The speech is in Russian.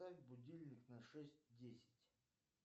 поставь будильник на шесть десять